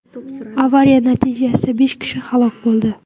Avariya natijasida besh kishi halok bo‘ldi.